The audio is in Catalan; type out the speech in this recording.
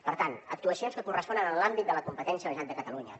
per tant actuacions que corresponen a l’àmbit de la competència de la generalitat de catalunya